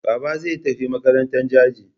Baba zan tafi makarantan Jaji.